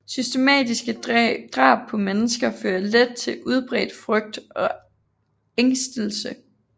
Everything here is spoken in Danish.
Systematiske drab på mennesker fører let til udbredt frygt og ængstelse